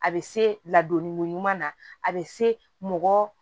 A bɛ se ladon ɲuman na a bɛ se mɔgɔ